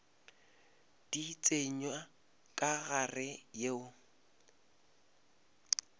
di tsenya ka gare yeo